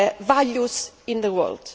our values in the world.